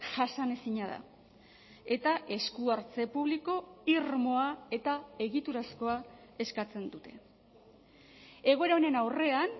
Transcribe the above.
jasanezina da eta eskuhartze publiko irmoa eta egiturazkoa eskatzen dute egoera honen aurrean